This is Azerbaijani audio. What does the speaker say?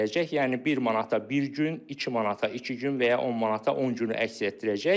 Yəni bir manata bir gün, iki manata iki gün və ya 10 manata 10 günü əks etdirəcək.